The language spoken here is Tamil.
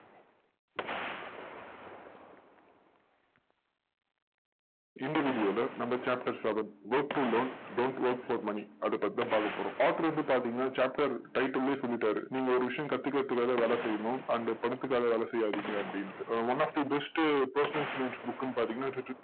இந்த video ல நம்ம chapters work to learn don't work for money அதை பத்தி தான் பார்க்க போறோம். author வந்து பார்த்தீங்கன்னா chapter title லயே சொல்லிட்டாரு. நீங்க ஒரு விஷயம் கத்துக்கறதுக்காக வேலை செய்யணும் and பணத்துக்காக வேலை செய்யாதிங்க அப்படின்டு. one of the best personal finance book ன்னு பாத்தீங்கன்னா